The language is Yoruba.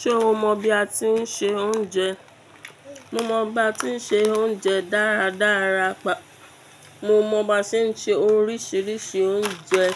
Ṣé o mọ bi a tí ń se oúnjẹ? Mo mọ ba tí ń se oúnjẹ dáradára, mo mọ ba tí ń se oríṣiríṣi oúnjẹ.